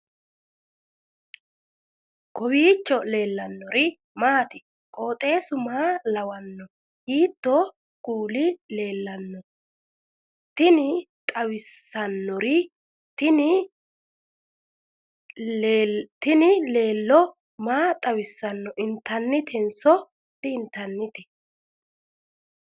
kowiicho leellannori maati ? qooxeessu maa lawaanno ? hiitoo kuuli leellanno ? tini xawissannori tini laalo maa xawissanno intannitenso di intanniteiika